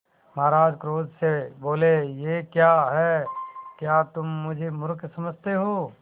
महाराज क्रोध से बोले यह क्या है क्या तुम मुझे मुर्ख समझते हो